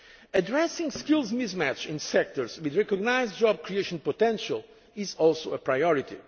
Addressing skills mismatch in sectors with recognised job creation potential is also